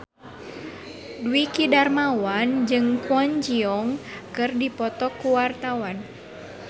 Dwiki Darmawan jeung Kwon Ji Yong keur dipoto ku wartawan